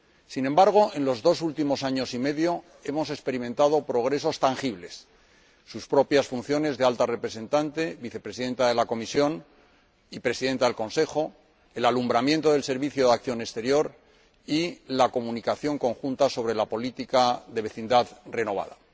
Sin embargo, en los dos últimos años y medio hemos experimentado progresos tangibles sus propias funciones de Alta Representante Vicepresidenta de la Comisión y Presidenta del Consejo de Asuntos Exteriores, el alumbramiento del Servicio Europeo de Acción Exterior y la Comunicación conjunta sobre la política de vecindad renovada.